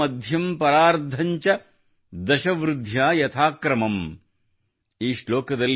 ಅಂತ್ಯಂ ಮಧ್ಯಂ ಪರಾರ್ಧ ಚ ದಶ ವೃಧ್ಯಾ ಯಥಾ ಕ್ರಮಮ್ ||